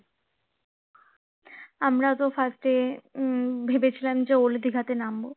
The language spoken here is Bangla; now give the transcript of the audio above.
আমরা তো first এ উম ভেবেছিলাম old দিঘাতে নামবো তারপরে